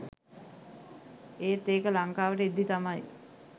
ඒත් ඒක ලංකාවට එද්දි තමයි